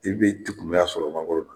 A tigi bɛ kumuya sɔrɔ mangoro la